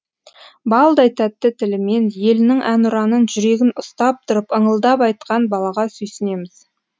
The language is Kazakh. балдай тәтті тілімен елінің әнұранын жүрегін ұстап тұрып ыңылдап айтқан балаға сүйсінеміз